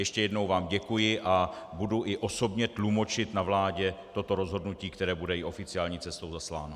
Ještě jednou vám děkuji a budu i osobně tlumočit na vládě toto rozhodnutí, které bude i oficiální cestou zasláno.